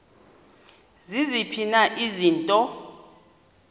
ziziphi na izinto